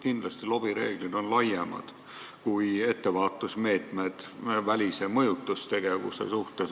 Kindlasti on lobireeglid laiemad kui ettevaatusmeetmed välise mõjutustegevuse vastu.